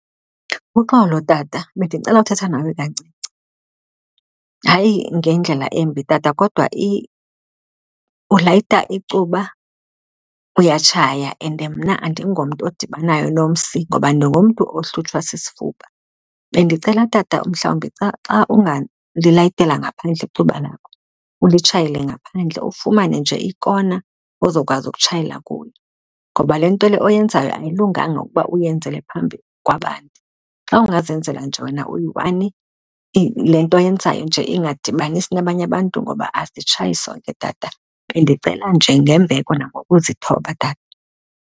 Uxolo tata, bendinicela uthetha nawe kancinci. Hayi ngendlela embi tata kodwa ulayita icuba uyatshaya and mna andingomntu odibanayo nomsi ngoba ndingumntu ohlutshwa sisifuba. Bendicela tata mhlawumbi xa xa ungalilayithela ngaphandle icuba lakho ulitshayele ngaphandle, ufumane nje ikona ozokwazi ekutshayela kuyo ngoba le nto le oyenzayo ayilunganga ukuba uyenzele phambi kwabantu. Xa ungazenzela nje wena uyi-one, le nto oyenzayo nje ingadibanisi nabanye abantu ngoba asitshayi sonke, tata. Bendicela nje ngembeko nangokuzithoba, tata.